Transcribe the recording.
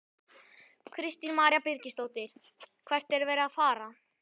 Kristín María Birgisdóttir: Hver er verið að fara?